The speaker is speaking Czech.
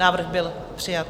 Návrh byl přijat.